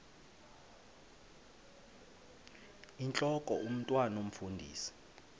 intlok omntwan omfundisi